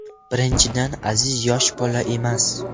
Birinchidan, Aziz yosh bola emas.